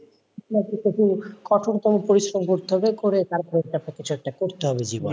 কঠোরতম পরিশ্রম করতে হবে, করে তারপর কিছু একটা করতে হবে জীবনে,